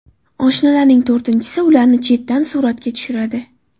Oshnalarning to‘rtinchisi ularni chetdan suratga tushiradi.